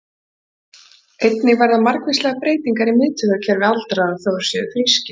Einnig verða margvíslegar breytingar í miðtaugakerfi aldraðra, þó að þeir séu frískir.